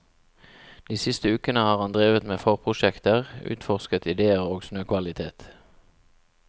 De siste ukene har han drevet med forprosjekter, utforsket ideer og snøkvalitet.